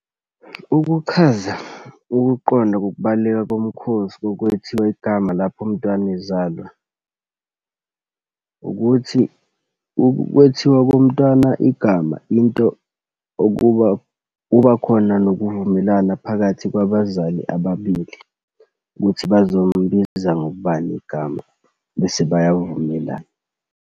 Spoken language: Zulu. Ukuchaza ukuqonda kokubaluleka kumkhosi kokwethiwa igama lapho umntwana ezalwa, ukuthi ukwethiwa komntwana igama into okuba kubakhona nokuvumelana phakathi kwabazali ababili ukuthi bazombiza ngobani igama, bese bayavumelana.